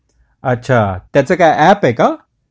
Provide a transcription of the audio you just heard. अच्छा त्याच काय ऐप आहे का?